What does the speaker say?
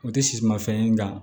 O tɛ sisimafɛn ye nka